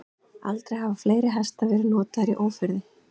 Aldrei hafa fleiri hestar verið notaðir í ófriði.